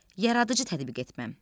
Yaradıcı tətbiq etmə.